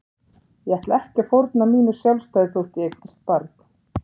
Ég ætla ekki að fórna mínu sjálfstæði þótt ég eignist barn.